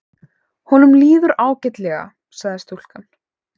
Honum líður ágætlega sagði stúlkan.